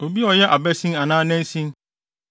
obi a ɔyɛ abasin anaa nansin,